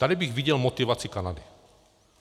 Tady bych viděl motivaci Kanady.